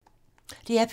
DR P2